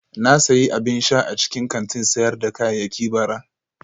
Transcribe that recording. Na sayi abin sha a cikin kantin sayar da kayayyaki bara